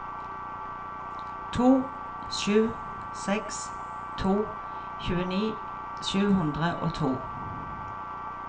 to sju seks to tjueni sju hundre og to